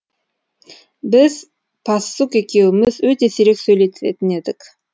біз пассук екеуіміз өте сирек сөйлесетін едік